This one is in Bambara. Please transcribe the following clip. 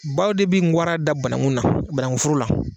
Baw de bɛ ngaran da banakun na banakun foro la.